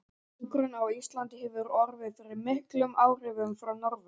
Hjúkrun á Íslandi hefur orðið fyrir miklum áhrifum frá Norður